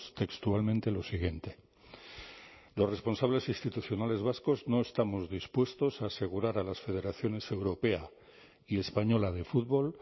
textualmente lo siguiente los responsables institucionales vascos no estamos dispuestos a asegurar a las federaciones europea y española de fútbol